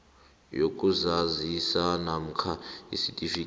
yokuzazisa namkha isitifikhethi